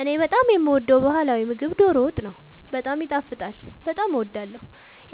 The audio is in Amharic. እኔ በጣም የምወደው በህላዊ ምግብ ዶሮ ወጥ ነው። በጣም ይጣፍጣል በጣም አወዳለሁ።